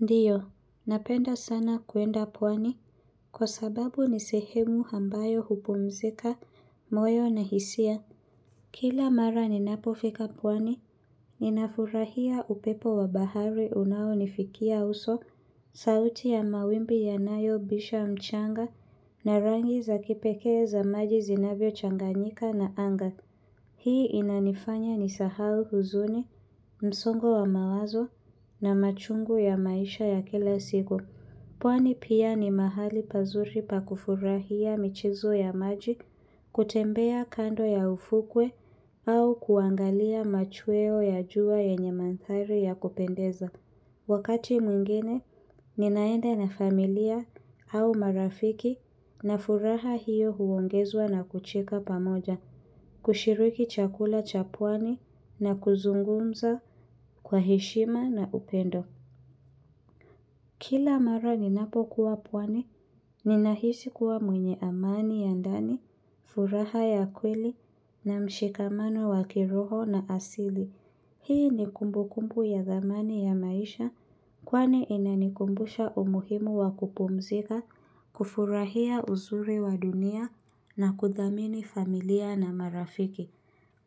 Ndiyo, napenda sana kuenda pwani kwa sababu nisehemu ambayo hupumzika, moyo na hisia. Kila mara ninapo fika pwani, ninafurahia upepo wa bahari unao nifikia uso, sauti ya mawimbi yanayo bisha mchanga na rangi za kipeke za maji zinavyo changanyika na anga. Hii inanifanya nisahau huzuni, msongo wa mawazo na machungu ya maisha ya kila sigo. Pwani pia ni mahali pazuri pakufurahia michezo ya maji, kutembea kando ya ufukwe au kuangalia machweo ya jua yenye mandhari ya kupendeza. Wakati mwingine, ninaenda na familia au marafiki na furaha hiyo huongezwa na kucheka pamoja. Kushiriki chakula cha pwani na kuzungumza kwa heshima na upendo. Kila mara ninapo kuwa pwani, ninahisi kuwa mwenye amani ya ndani, furaha ya kweli na mshikamano wa kiroho na asili. Hii ni kumbu kumbu ya zamani ya maisha kwani inanikumbusha umuhimu wa kupumzika, kufurahia uzuri wa dunia na kuthamini familia na marafiki.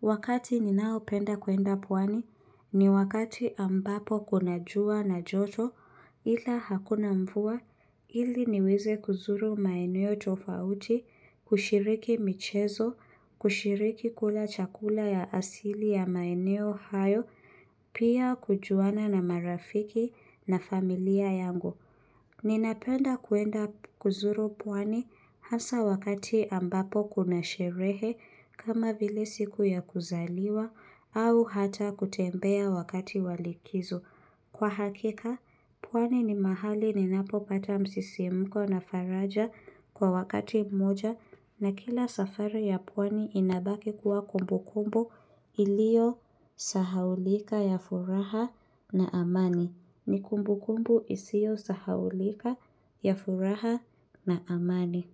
Wakati ninao penda kuenda pwani ni wakati ambapo kuna jua na joto ila hakuna mvua ili niweze kuzuru maeneo tofauti, kushiriki michezo, kushiriki kula chakula ya asili ya maeneo hayo, pia kujuana na marafiki na familia yangu. Ninapenda kuenda kuzuru pwani hasa wakati ambapo kuna sherehe kama vile siku ya kuzaliwa au hata kutembea wakati wa likizo. Kwa hakika, pwani ni mahali ninapo pata msisimuko na faraja kwa wakati moja na kila safari ya pwani inabaki kuwa kumbu kumbu ilio sahaulika ya furaha na amani. Ni kumbu kumbu isio sahaulika, ya furaha na amani.